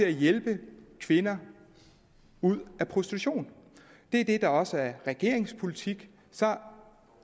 at hjælpe kvinder ud af prostitution det er det der også er regeringens politik så